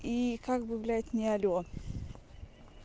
и как бы блядь не алло